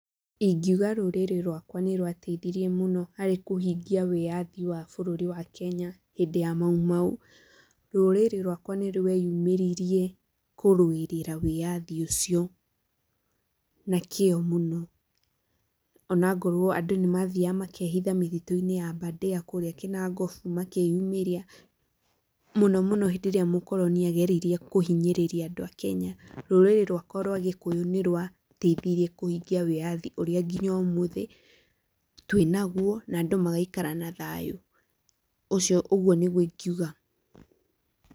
Ingiuga rũrĩrĩ rwakwa nĩ rwateithirie mũno harĩ kũhingia wĩyathi wa bũrũri wa Kenya hĩndĩ ya maumau. Rũrĩrĩ rwakwa nĩ rweyumĩririe kũrũĩrĩra wĩyathi ũcio na kĩo mũno. Ona ngorwo andũ nĩ mathiaga makehitha mĩtitũ-inĩ ya Aberdare kũũrĩa Kinangop, makeyumĩria mũno mũno hĩndĩ ĩrĩa mũkoroni ageririe kũhinyĩrĩria andũ a kenya. Rũrĩrĩ rwakwa rwa gĩkũyũ nĩ rwateithirie kũhingia wĩyathi ũrĩa nginya ũmũthĩ twĩ na guo, na andũ magaikara na thayũ. Ũcio ũguo nĩguo ingiuga.